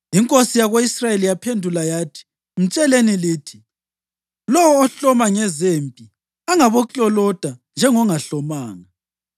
Inkosi yako-Israyeli yaphendula yathi, “Mtsheleni lithi: ‘Lowo ohloma ngezempi angabokloloda njengongahlomanga.’ ”